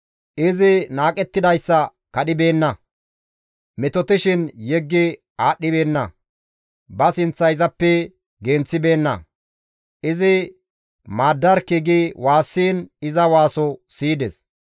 Izi naaqettidayssa kadhibeenna; metotishin yeggi aadhdhibeenna; ba sinththa izappe genththibeenna; izi maaddarkki gi waassiin iza waaso siyides.